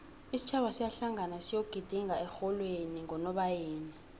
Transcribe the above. isitjhaba siyahlangana siyoejidinga ehlolweni ngonobayeni